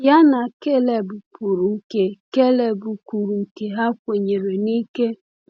Ya na Kaleb kwuru nke Kaleb kwuru nke ha kwenyere n’ike.